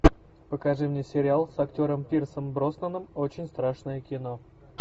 покажи мне сериал с актером пирсом броснаном очень страшное кино